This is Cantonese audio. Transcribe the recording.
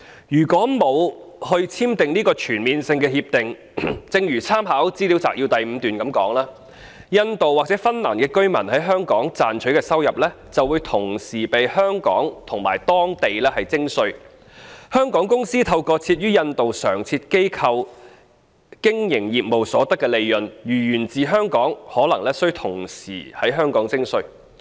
如果沒有簽訂這項全面性協定，正如參考資料摘要第5段所述，印度或芬蘭居民在香港賺取的收入會同時被香港及當地徵稅，香港公司透過設於印度的常設機構經營業務所得的利潤，如果源自香港，也可能須同時在香港課稅。